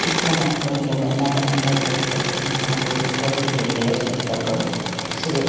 ಚಿಕ್ಕ ಮಕ್ಕಳಿಗೆ ಬಣ್ಣ ಬಣ್ಣದ ಸೈಕ್ಲೆಗಳು ಹಾಗು ದೊಡ್ಡವರಿಗೆ ಗೇರ್ ಸೈಕ್ಲೆಗಳು ಸಿಗುತಾವೆ.